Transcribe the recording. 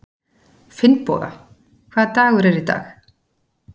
Finnboga, hvaða dagur er í dag?